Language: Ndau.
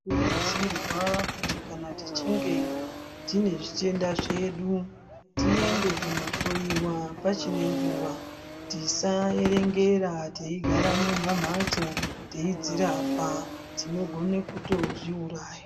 Tinokurudzirwa kuti kana tichinge tine zvitenda zvedu tiende kundo hloyiwa pachirine nguwa tisa erengera tei gara mumamhatso teidzirapa tinogone kutozviuraya.